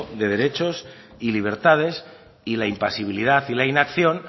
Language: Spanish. de derechos y libertades y la impasibilidad y la inacción